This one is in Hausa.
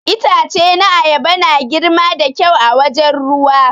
Itace na ayaba na girma da kyau a wajen ruwa.